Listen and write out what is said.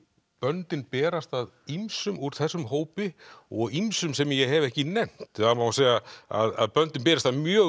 böndin berast að ýmsum úr þessum hópi og ýmsum sem ég hef ekki nefnt það má segja að böndin berist að mjög